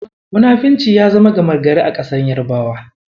Munafurci ya zama gama gari a ƙasar Yarabawa.